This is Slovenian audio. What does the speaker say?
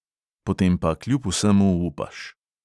Potem pa kljub vsemu upaš.